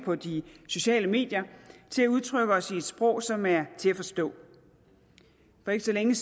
på de sociale medier til at udtrykke os i et sprog som er til at forstå for ikke så længe